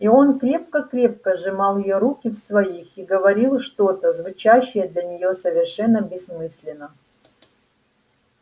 и он крепко-крепко сжимал её руки в своих и говорил что-то звучавшее для неё совершенно бессмысленно